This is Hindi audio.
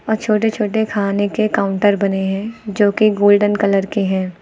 और छोटे छोटे खाने के काउंटर बने हैं जो कि गोल्डन कलर के हैं।